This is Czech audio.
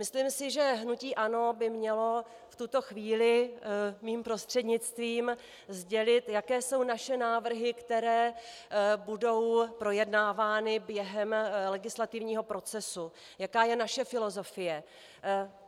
Myslím si, že hnutí ANO by mělo v tuto chvíli mým prostřednictvím sdělit, jaké jsou naše návrhy, které budou projednávány během legislativního procesu, jaká je naše filozofie.